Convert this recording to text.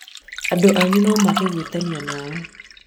andũ anyu nomage gwĩtanio nawe